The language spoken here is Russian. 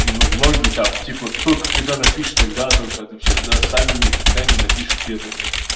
ну многие там типа только когда напишешь тогда только отвечай да сами никогда не напишут первыми